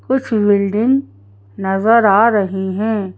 कुछ बिल्डिंग नजर आ रही हैं।